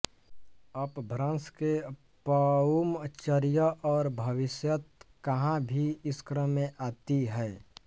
अपभ्रंश के पउम चरिअ और भविशयत्त कहा भी इस क्रम में आती हैं